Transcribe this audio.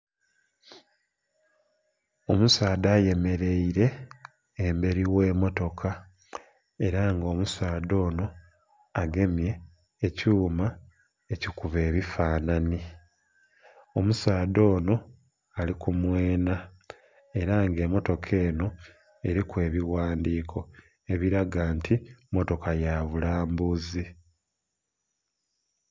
Omusaadha ayemereire emberi ogh'emmotoka era nga omusaadha ono agemye ekyuma ekikubba ebifanhanhi, omusaadha ono ali kumweena era nga emmotoka eno eriku n'ebighandhiko ebiraga nti mmotoka ya bulambuzi.